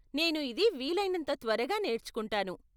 నేను ఇది వీలైనంత త్వరగా నేర్చుకుంటాను.